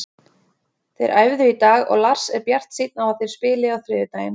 Þeir æfðu í dag og Lars er bjartsýnn á að þeir spili á þriðjudaginn.